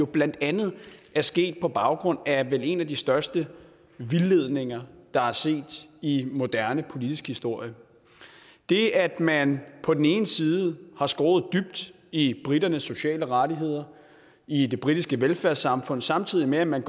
blandt andet er sket på baggrund af vel en af de største vildledninger der er set i moderne politisk historie det at man på den ene side har skåret dybt i briternes sociale rettigheder i det britiske velfærdssamfund samtidig med at man